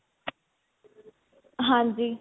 ਹਾਂਜੀ